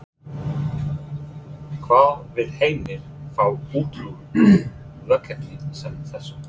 Hvað vill Heimir fá út úr verkefni sem þessu?